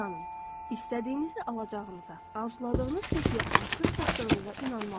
İstədiyinizi alacağınıza, arzuladığınız çəkiyə artıq çatdığınıza inanmalısınız.